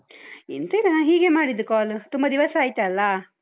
ಎಂತ ಇಲ್ಲ ನಾನ್ ಹೀಗೇ ಮಾಡಿದ್ದು call ತುಂಬ ದಿವಸ ಆಯ್ತಲ್ಲ?